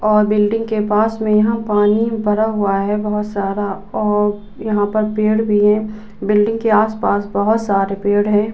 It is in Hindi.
और बिल्डिंग के पास में यहाँ पानी भरा हुआ है बोहोत सारा और यहाँ पर पेड़ भी है। बिल्डिंग के आस पास बोहोत सारे पेड़ हैं |